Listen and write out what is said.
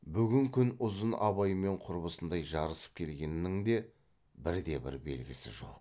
бүгін күн ұзын абаймен құрбысындай жарысып келгеннің де бірде бір белгісі жоқ